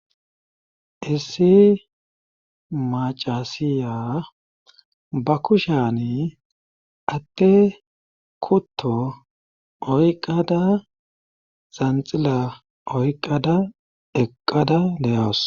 Issi macasiya ba kusheni ade kutto oyqada zanxila oyqada eqqada de'awus.